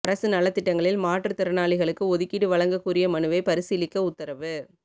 அரசு நலத் திட்டங்களில் மாற்றுத்திறனாளிகளுக்கு ஒதுக்கீடு வழங்கக் கோரிய மனுவை பரிசீலிக்க உத்தரவு